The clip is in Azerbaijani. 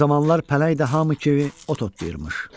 O zamanlar pələng də hamı kimi ot otlayırmış.